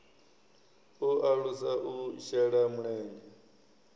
u alusa u shela mulenzhe